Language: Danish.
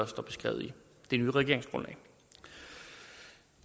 står beskrevet i det nye regeringsgrundlag